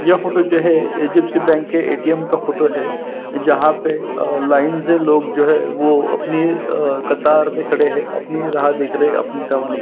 यह फोटो जो है एच_डी_ऍफ़_सी बैंक का ए टी एम का फोटो है जहाँ पे लाइन से लोग जो है वो अपनी कतार में खड़े है अपनी राह देख रहे है अपनी टर्म आने की --